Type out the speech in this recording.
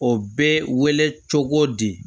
O bɛ wele cogo di